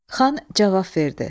Xan cavab verdi.